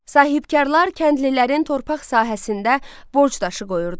Sahibkarlar kəndlilərin torpaq sahəsində borc daşı qoyurdu.